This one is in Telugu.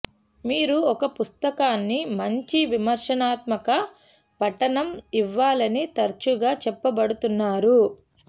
మీరు ఒక పుస్తకాన్ని మంచి విమర్శనాత్మక పఠనం ఇవ్వాలని తరచుగా చెప్పబడుతున్నారు